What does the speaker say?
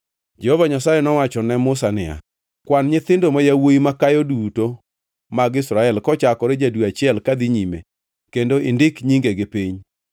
Jehova Nyasaye nowacho ne Musa niya, “Kwan nyithindo ma yawuowi makayo duto mag Israel kochakore ja-dwe achiel kadhi nyime kendo indik nyingegi piny.